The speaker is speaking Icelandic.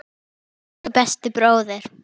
Kvóti þeirra nýtist því betur.